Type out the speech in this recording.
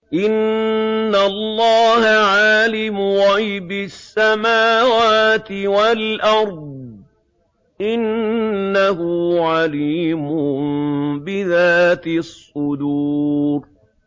إِنَّ اللَّهَ عَالِمُ غَيْبِ السَّمَاوَاتِ وَالْأَرْضِ ۚ إِنَّهُ عَلِيمٌ بِذَاتِ الصُّدُورِ